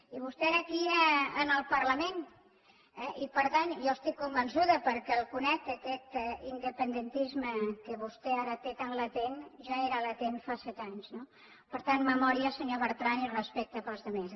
i vostè era aquí al parlament eh i per tant jo estic convençuda perquè el conec que aquest independentisme que vostè ara té tan latent ja era latent fa set anys no per tant memòria senyor bertran i respecte per als altres